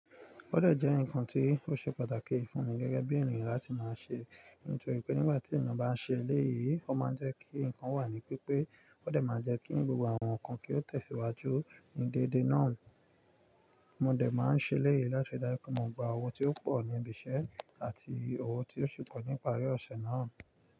Ó dẹ̀ jẹ́ nǹkan tí ó ṣe pàtàkì fún mi gẹ́gẹ́ bí ènìyàn láti máa ṣe, nítorí pé nígbà tí ènìyàn bá ń ṣe léyìí, ó máa ń jẹ́ kí ǹkan wà ní pípé. Ó dẹ̀ máa jẹ́ kí gbogbo àwọn ǹkan kí ó tẹ̀síwájú ní dédé náà. Mo dẹ̀ máa ń ṣe eléyìí láti dára pọ̀ mo gbogbo àwọn tí ó pọ̀ ní ibi iṣẹ́ àti owó tí ó sì pọ̀ ní ìparí ọ̀ṣẹ̀ náà.